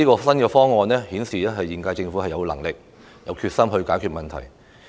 新方案顯示現屆政府既有能力也有決心解決問題。